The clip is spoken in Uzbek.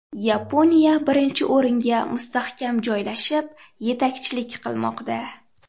Yaponiya birinchi o‘ringa mustahkam joylashib, yetakchilik qilmoqda.